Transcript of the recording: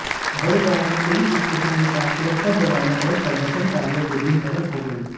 बड़गांव में police station के पास सुरक्षा जवानों और प्रदर्शनकारियों के बीच झड़प हो गई